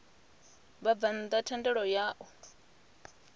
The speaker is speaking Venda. vhabvann ḓa thendelo ya u